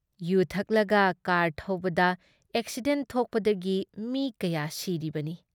U ꯊꯛꯂꯒ car ꯊꯧꯕꯗ accident ꯊꯣꯛꯄꯗꯒꯤ ꯃꯤ ꯀꯌꯥ ꯁꯤꯔꯤꯕꯅꯤ ꯫